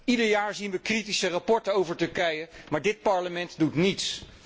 Ieder jaar zien we kritische rapporten over Turkije, maar dit Parlement doet niets.